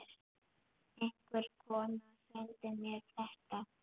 Einhver kona sendi mér þetta.